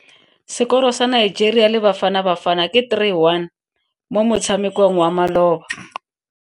Sekoro sa Nigeria le Bafanabafana ke 3-1 mo motshamekong wa maloba.